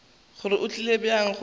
gore go tlile bjang gore